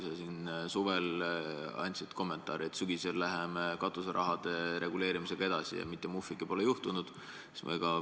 Sa siin suvel andsid kommentaare, et sügisel läheme katuseraha reguleerimisega edasi, aga mitte muhvigi pole juhtunud.